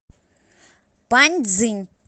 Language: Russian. паньцзинь